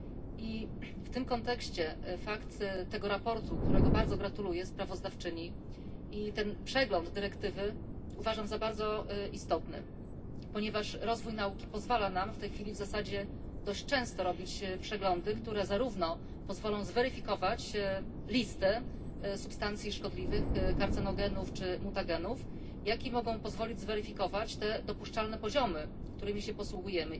I w tym kontekście fakt tego sprawozdania, którego bardzo gratuluję sprawozdawczyni, i ten przegląd dyrektywy uważam za bardzo istotny, ponieważ rozwój nauki pozwala nam w tej chwili w zasadzie dość często robić przeglądy, które zarówno pozwolą zweryfikować listę substancji szkodliwych, karcenogenów czy mutagenów, jak i mogą pozwolić zweryfikować te dopuszczalne poziomy, którymi się posługujemy.